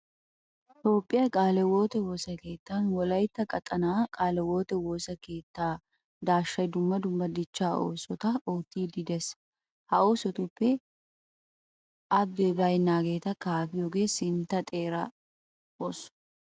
Toophphiya qaale hiwoote woosa keettan wolaytta qaxanaa qaale hiwoote woosa keettaa daashshay dumm dumma dichchaa oosota oottiiddi de'ees. Ha oosotuppe abbee baynnaageeta kaafiyogee sintta xeera ooso.